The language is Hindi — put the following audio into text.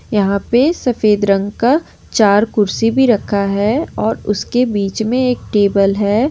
यहां पे सफेद रंग का चार कुर्सी भी रखा है और उसके बीच में एक टेबल है।